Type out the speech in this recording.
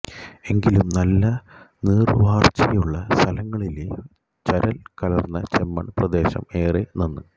എങ്കിലും നല്ല നീർവാർച്ചയുള്ള സ്ഥലങ്ങളിലെ ചരൽ കലർന്ന ചെമ്മൺ പ്രദേശം ഏറെ നന്ന്